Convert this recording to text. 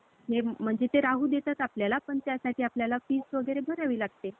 आणि भगवान राम जेव्हा पुन्हा अयोध्येत आले. त्यावेळेला, त्यांच्या स्वागतासाठी उभं केलेले जे होते. सगळे झेंडे म्हणजेच हे जे गुढी.